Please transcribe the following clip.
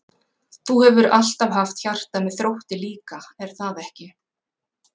Þú hefur alltaf haft hjarta með Þrótti líka er það ekki?